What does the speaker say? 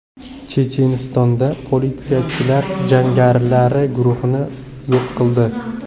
Chechenistonda politsiyachilar jangarilar guruhini yo‘q qildi.